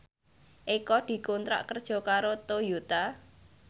Eko dikontrak kerja karo Toyota